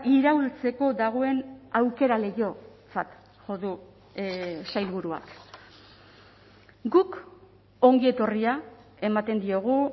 iraultzeko dagoen aukera leihotzat jo du sailburuak guk ongi etorria ematen diogu